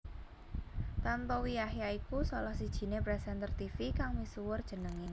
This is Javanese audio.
Tantowi Yahya iku salah sijiné presenter tivi kang misuwur jenengé